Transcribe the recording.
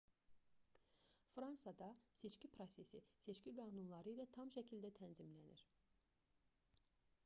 fransada seçki prosesi seçki qanunları ilə tam şəkildə tənzimlənir